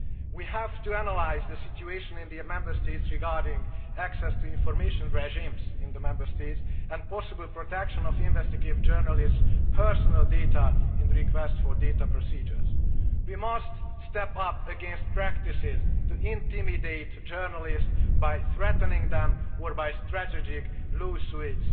We have to analyse the situation in the Member States regarding access to information regimes in the Member States and the possible protection of investigative journalists' personal data in requests for data procedures. We must step up against practices to intimidate journalists by threatening them or by strategic law suits.